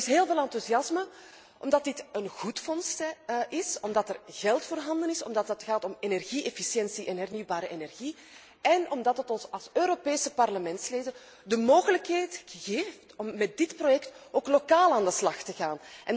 Er is heel veel enthousiasme, omdat dit een goed fonds is, omdat er geld voorhanden is, omdat het gaat om energie efficiëntie en hernieuwbare energie én omdat het ons als Europese Parlementsleden de mogelijkheid geeft om met dit project ook lokaal aan de slag te gaan.